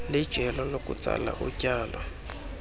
lijelo lokutsala utyalo